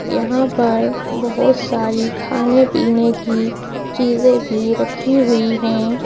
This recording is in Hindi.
यहां पर बहोत सारी खाने पीने की चीजे भी रखी हुई है।